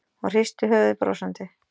Hún hristi höfuðið brosandi.